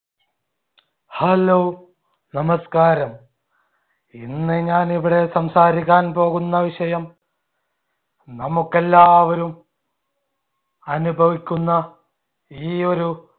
hello നമസ്ക്കാരം. ഇന്ന് ഞാൻ ഇവിടെ സംസാരിക്കാൻ പോകുന്ന വിഷയം നമുക്ക് എല്ലാവരും അനുഭവിക്കുന്ന ഈ ഒരു